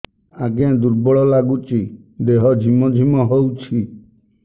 ଆଜ୍ଞା ଦୁର୍ବଳ ଲାଗୁଚି ଦେହ ଝିମଝିମ ହଉଛି